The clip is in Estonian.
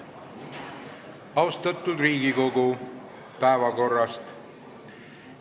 Austatud Riigikogu, päevakorrast.